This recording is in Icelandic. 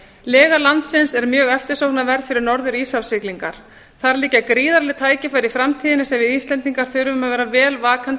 lega landsins er eftirsóknarverð fyrir norður íshafssiglingar þar liggja gríðarleg tækifæri í framtíðinni sem við íslendingar þurfum að vera vel vakandi